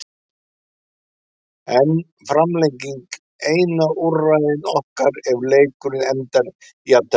Er framlenging eina úrræði okkar ef leikur endar í jafntefli?